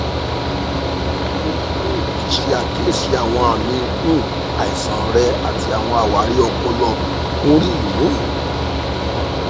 mo um ti ṣe akiyesi awọn aami um aisan rẹ ati awọn awari ọpọlọ mri um